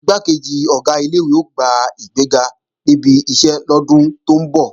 Igbákejì Ọ̀gá ilé-ìwé ó gba ìgbéga níbi iṣẹ́ lọ́dún tó ń bọ̀